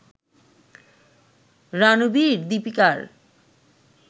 রানবির-দিপিকার